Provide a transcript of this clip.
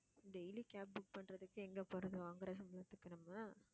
daily cab book பண்றதுக்கு எங்க போறது வாங்குற சம்பளத்துக்கு நம்ம